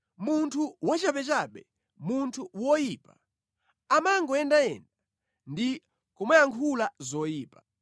Munthu wachabechabe, munthu woyipa, amangoyendayenda ndi kumayankhula zoyipa,